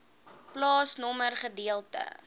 plaasnommer gedeelte